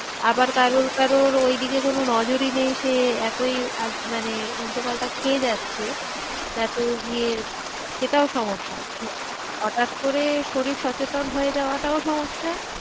আবার কারোর কারোর ওইদিকে কোনো নজরই নেই সে এতই মানে উল্টো পাল্টা খেয়ে যাচ্ছে তারপর গিয়ে সেটাও সমস্যা হটাৎ করে শরীর সচেতন হয়ে যাওয়াটাও সমস্যা